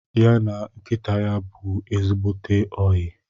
Ya na nkịta bụ ezigbote oyi